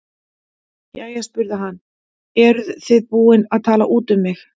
Jæja spurði hann, eruð þið búin að tala út um mig?